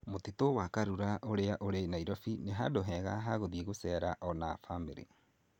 Mũtitũ wa Karura ũrĩa ũrĩ Nairobi nĩ handũ hega ha gũthiĩ guceera o na bamĩrĩ